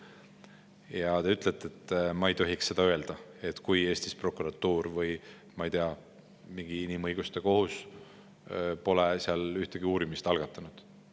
Ja te ütlete, et ma ei tohiks seda öelda, kui Eestis prokuratuur või, ma ei tea, mingi inimõiguste kohus pole ühtegi uurimist algatanud.